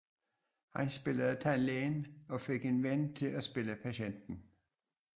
Han spillede tandlægen og fik en ven til at spille patienten